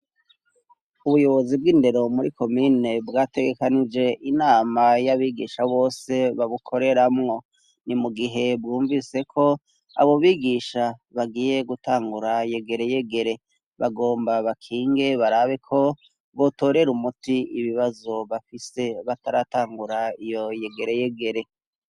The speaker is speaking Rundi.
Ubuyobozi bw'indero muri komine bwategekanije inama y'abigisha bose babukoreramwo ni mu gihe bwumviseko abo bigisha bagiye gutangura yegere yegere bagomba bakinge barabiko bwotorere umuti ibibazo bafise bataratangura iyo yegere yegere.